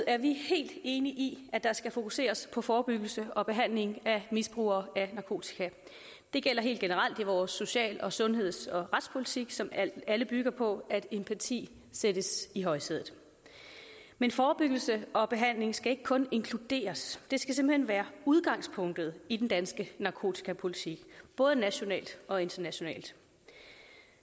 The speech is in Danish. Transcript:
er vi helt enige i at der skal fokuseres på forebyggelse og behandling af misbrugere af narkotika det gælder helt generelt i vores social sundheds og retspolitik som alle bygger på at empati sættes i højsædet men forebyggelse og behandling skal ikke kun inkluderes det skal simpelt hen være udgangspunktet i den danske narkotikapolitik både nationalt og internationalt